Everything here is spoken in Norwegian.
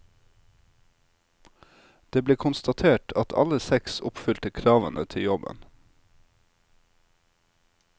Det ble konstatert at alle seks oppfylte kravene til jobben.